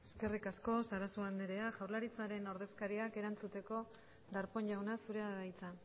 eskerrik asko sarasua andrea jaurlaritzaren ordezkariak erantzuteko darpón jauna zurea da hitza